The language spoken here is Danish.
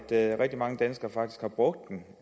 at rigtig mange danskere faktisk har brugt den